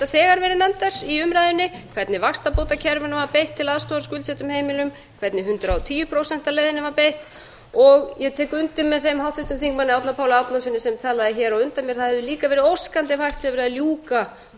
þegar verið nefndar í umræðunni hvernig vaxtabótakerfinu var beitt til aðstoðar skuldsettum heimilum hvernig hundrað og tíu prósenta leiðinni var beitt og ég tek undir með þeim háttvirta þingmanni árna páli árnasyni sem talaði hér á undan mér það hefði líka verið óskandi ef hægt hefði verið að ljúka